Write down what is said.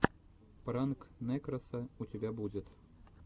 пранк нэкроса у тебя будет